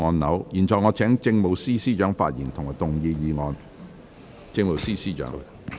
我現在請政務司司長發言及動議議案。